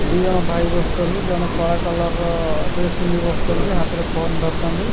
ଦି ଜଣ ଭାଇ ବସିଚନ୍ତି ଜଣେ କଳା କଲର୍ ର ଡ୍ରେସ ପିନ୍ଧିକି ବସିଚନ୍ତି ହାତରେ ଫୋନ୍ ଧରିଚନ୍ତି।